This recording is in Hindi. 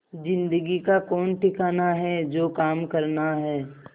जिंदगी का कौन ठिकाना है जो काम करना है